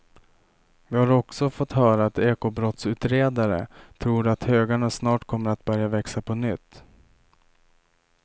Vi har också fått höra att ekobrottsutredare tror att högarna snart kommer att börja växa på nytt.